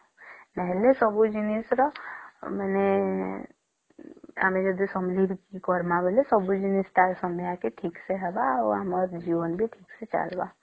ନହଲେ ସବୁ ଜିନିଷ ର ମାନେ ଆମେ ଯଦି ସମ୍ଭାଲକି କରିବା ସବୁ ଜିନିଷ ବି ଠିକ ସମୟେ ର ହେବ ଆଉ ଆମ ଜୀବନ ବି ଠିକ ସେ ଚାଲିବ